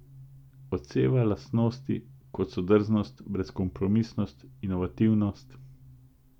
Odseva lastnosti, kot so drznost, brezkompromisnost, inovativnost...